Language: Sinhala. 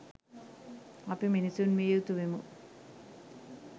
අපි මිනිසුන් විය යුතු වෙමු.